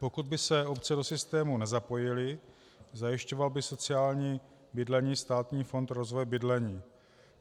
Pokud by se obce do systému nezapojily, zajišťoval by sociální bydlení Státní fond rozvoje bydlení.